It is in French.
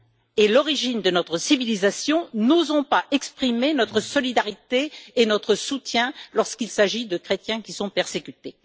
et l'origine de notre civilisation, n'osons pas exprimer notre solidarité et notre soutien lorsqu'il s'agit de chrétiens qui sont persécutés.